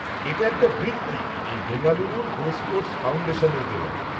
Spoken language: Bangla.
-এটা একটা বৃত্তি এই বেঙ্গালুরুর গোস্পোর্টস ফাউণ্ডেশনের দেওয়া।